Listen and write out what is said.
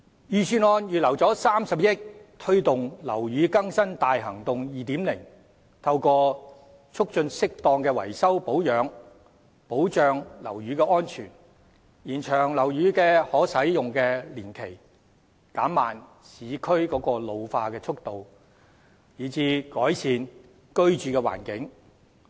預算案預留30億元推動"樓宇更新大行動 2.0"， 透過促進適當的維修保養，保障樓宇安全，延長樓宇可使用年期，減慢市區老化的速度，以改善居住環境。